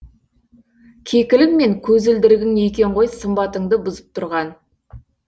кекілің мен көзілдірігің екен ғой сымбатыңды бұзып тұрған